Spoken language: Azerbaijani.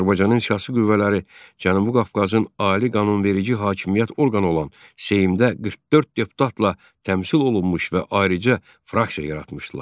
Azərbaycanın siyasi qüvvələri Cənubi Qafqazın ali qanunverici hakimiyyət orqanı olan Seymdə 44 deputatla təmsil olunmuş və ayrıca fraksiya yaratmışdılar.